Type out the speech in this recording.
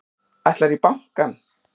Ætlarðu í bankann?